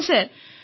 ଆଜ୍ଞା ସାର୍